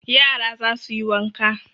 Yara za su yi wanka